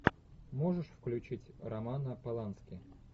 можешь включить романа полански